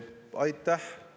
Aitäh!